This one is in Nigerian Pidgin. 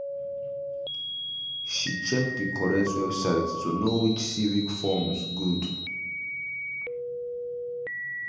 she check the correct website to know which civic forms good